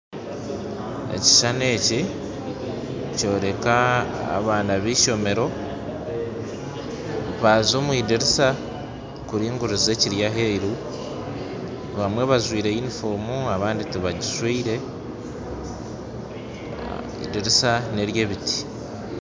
Ekishushani eki nikyoreka abaana b'eishomero, baaza omu idirisa kuringuriza ekiri aheeru, abamwe bajwaire yunifoomu abandi tibagijwaire, edirisa n'ery'ebiti.